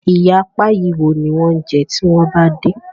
Ìyá Páyi wo ní wan jé tí wón bá dé?